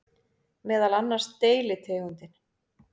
Meðal annars deilitegundin